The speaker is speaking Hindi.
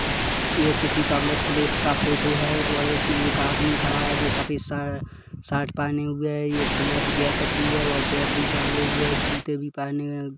यह किसी पब्लिक प्लेस का फोटो है और इसमें एक आदमी खड़ा है जो सफ़ेद स सर्ट पहनी हुए है ब्लैक जाकेट भी है बेग भी टाँगे हुए है जुत भी पहने